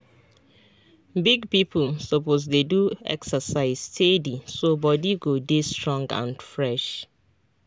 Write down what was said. big people suppose dey do exercise steady so body go dey strong and fresh.